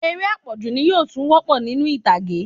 Eré apọju ni yóò tún wopo ninu ìtàgé